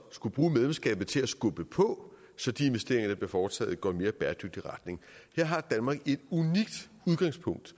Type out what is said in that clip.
skulle bruge medlemskabet til at skubbe på så de investeringer der bliver foretaget går i en mere bæredygtig retning her har danmark et unikt udgangspunkt